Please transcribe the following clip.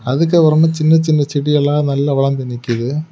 அதுக்கு அப்ரமா சின்ன சின்ன செடியெல்லாம் நல்லா வளந்து நிக்கிது.